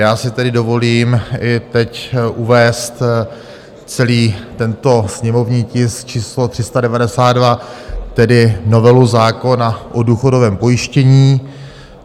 Já si tedy dovolím i teď uvést celý tento sněmovní tisk číslo 392, tedy novelu zákona o důchodovém pojištění.